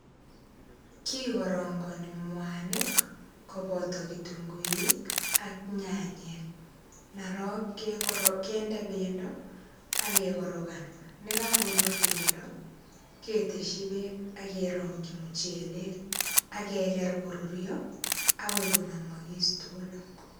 Kikarangani mwanik, koboto kitunguik ak nyanyek. Ndarok, kende pendo, akekorokan. Nekakorur pendo, keteshi beek, akerongchi muchelek, akeker korurio, akoi konamakis tugulu.